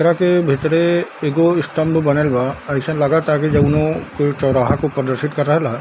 एकरा के भीतरे एगो स्टाम्प बनल बा अइसन लगता की जोनो कोई चोराहा को प्रदर्शित कर रहल।